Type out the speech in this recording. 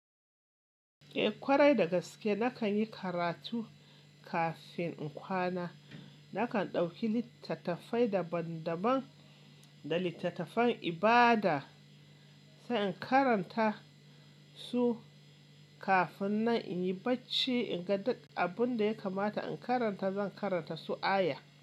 Eh ƙwarai dagaske nakan yi karatu kafin in kwana. Nakan ɗauki littattafai daban daban da littattafan ibada sai in karanta su kafin nan inyi bacci. In ga duk abun da ya kamata in karanta zan karanta su aya.